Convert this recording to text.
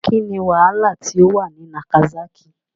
What was the problem in Nagasaki? Kín ni wàhálà tí ó wà ní Nagasákì?